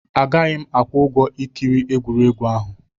Agaghị m akwụ ụgwọ ikiri egwuregwu ahụ.